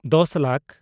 ᱫᱚᱥ ᱞᱟᱠ